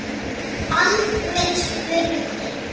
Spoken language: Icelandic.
Baldvin spurði